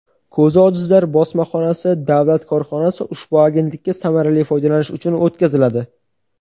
"Ko‘zi ojizlar bosmaxonasi" davlat korxonasi ushbu agentlikka samarali foydalanish uchun o‘tkaziladi.